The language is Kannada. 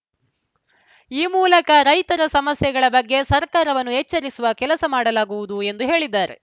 ಈ ಮೂಲಕ ರೈತರ ಸಮಸ್ಯೆಗಳ ಬಗ್ಗೆ ಸರ್ಕಾರವನ್ನು ಎಚ್ಚರಿಸುವ ಕೆಲಸ ಮಾಡಲಾಗುವುದು ಎಂದು ಹೇಳಿದ್ದಾರೆ